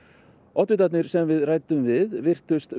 oddvitarnir sem við ræddum við virtust